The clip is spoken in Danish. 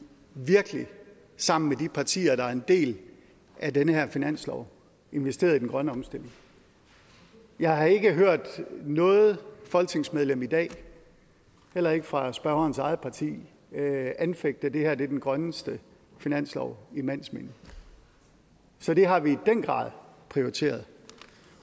virkelig sammen med de partier der er en del af den her finanslov investeret i den grønne omstilling jeg har ikke hørt noget folketingsmedlem i dag heller ikke fra spørgerens eget parti anfægte at det her er den grønneste finanslov i mands minde så det har vi i den grad prioriteret